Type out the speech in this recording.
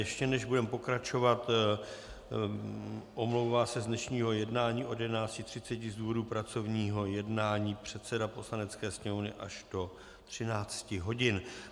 Ještě než budeme pokračovat, omlouvá se z dnešního jednání od 11.30 z důvodu pracovního jednání předseda Poslanecké sněmovny až do 13 hodin.